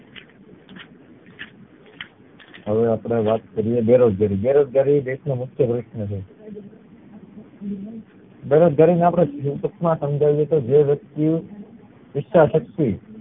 હવે અપડે વાત કરીયે બેરોજગારી. બેરોજગારી દેશ નું મુખ્ય પ્રશ્ન છે બેરોજગારી ને આપડે ટૂંક માં સમજાવી તો જે વ્યકતિ ઈચ્છા શક્તિ